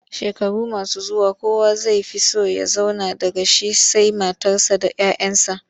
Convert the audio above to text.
Shekaru masu zuwa kowa zai fi so ya zauna daga shi sai matarsa da 'ya 'yansa.